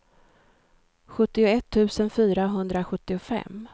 sjuttioett tusen fyrahundrasjuttiofem